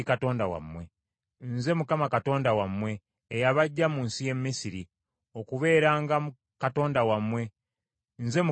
Nze Mukama Katonda wammwe, eyabaggya mu nsi y’e Misiri, okubeeranga Katonda wammwe; Nze Mukama Katonda wammwe.”